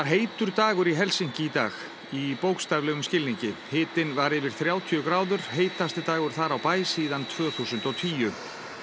heitur dagur í Helsinki í dag í bókstaflegum skilningi hitinn var yfir þrjátíu gráður heitasti dagur þar á bæ síðan tvö þúsund og tíu